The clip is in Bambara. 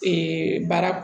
baara